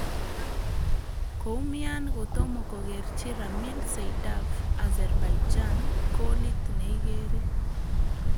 Koumian kotomo kokerchi Ramil Seydaev Azerbaijan kolit neigeree